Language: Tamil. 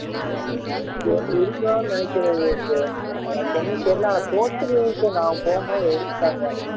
இருக்கலாம்னு நினைக்கிறேன் விவேக் எனக்கு ஒன்னும் தெரியல ஆனா post credit நான் போகும் போது எடுத்துட்டாங்க